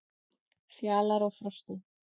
Fjalar og Frosti,